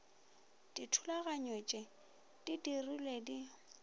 dithulaganyo tpeo di dirilwego di